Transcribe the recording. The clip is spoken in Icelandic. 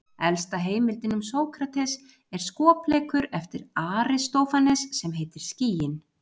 Elsta heimildin um Sókrates er skopleikur eftir Aristófanes sem heitir Skýin.